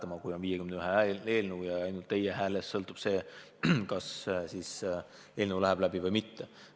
Ja paraku on nn 51 hääle eelnõu ja ka teie häälest sõltub, kas eelnõu läheb läbi või mitte.